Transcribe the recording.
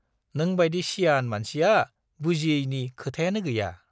नोंबाइदि सियान मानसिया बुजियैनि खोथायानो गैया।